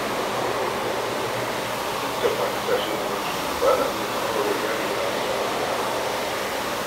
Duk da faɗi tashin da nake yi, ba na iya samar wa iyalina wasu abubuwan.